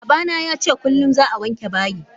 Babana yace kullum za'a wanke bayi.